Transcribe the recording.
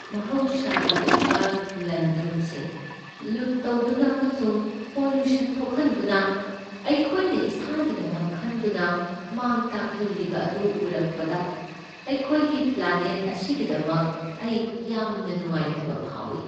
ꯃꯍꯧꯁꯥꯒꯤ ꯑꯣꯏꯕ ꯂꯟ ꯊꯨꯝꯁꯤꯡ ꯂꯨꯠ ꯇꯧꯗꯨꯅ ꯑꯃꯁꯨꯡ ꯄꯣꯂ꯭ꯌꯨꯁꯟ ꯊꯣꯛꯍꯟꯗꯨꯅ ꯑꯩꯈꯣꯏꯅ ꯏꯁꯥꯒꯤꯗꯃꯛ ꯈꯟꯗꯨꯅ ꯃꯥꯡ ꯇꯥꯛꯍꯟꯍꯜꯂꯤꯕ ꯑꯗꯨ ꯎꯔꯛꯄꯗ ꯑꯩꯈꯣꯏꯒꯤ ꯄ꯭ꯂꯥꯅꯦꯠ ꯑꯁꯤꯒꯤꯗꯃꯛ ꯑꯩ ꯌꯥꯝꯅ ꯅꯨꯉꯥꯏꯇꯕ ꯐꯥꯎꯏ꯫